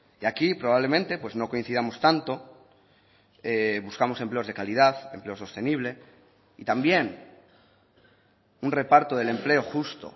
y aquí probablemente pues no coincidamos tanto buscamos empleos de calidad empleo sostenible y también un reparto del empleo justo